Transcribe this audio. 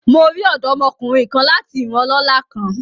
Mo ri ọdọmokunrin kan lati iran ọlọla kan